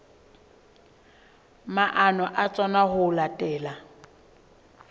maano a tsona ho latela